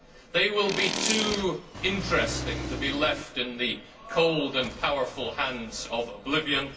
They will be too interesting to be left in the cold and powerful hands of oblivion.